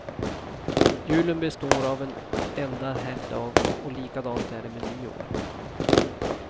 Julen består av en enda helgdag och likadant är det med nyår.